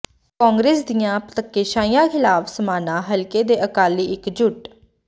ਕਾਂਗਰਸ ਦੀਆਂ ਧੱਕੇਸ਼ਾਹੀਆਂ ਖ਼ਿਲਾਫ਼ ਸਮਾਣਾ ਹਲਕੇ ਦੇ ਅਕਾਲੀ ਇੱਕਜੁੱਟ